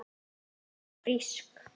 Hún var frísk.